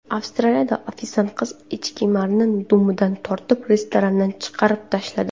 Avstraliyada ofitsiant qiz echkemarni dumidan tortib restorandan chiqarib tashladi.